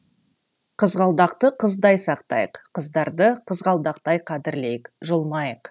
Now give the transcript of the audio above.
қызғалдақты қыздай сақтайық қыздарды қызғалдақтай қадірлейік жұлмайық